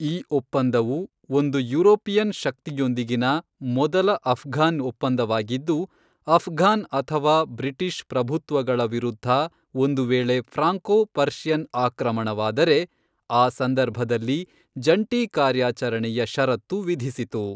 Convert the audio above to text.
ಈ ಒಪ್ಪಂದವು, ಒಂದು ಯುರೋಪಿಯನ್ ಶಕ್ತಿಯೊಂದಿಗಿನ ಮೊದಲ ಅಫ್ಘಾನ್ ಒಪ್ಪಂದವಾಗಿದ್ದು, ಅಫ್ಘಾನ್ ಅಥವಾ ಬ್ರಿಟಿಷ್ ಪ್ರಭುತ್ವಗಳ ವಿರುದ್ಧ ಒಂದುವೇಳೆ ಫ್ರಾಂಕೋ ಪರ್ಷಿಯನ್ ಆಕ್ರಮಣವಾದರೆ ಆ ಸಂದರ್ಭದಲ್ಲಿ ಜಂಟಿ ಕಾರ್ಯಾಚರಣೆಯ ಷರತ್ತು ವಿಧಿಸಿತು.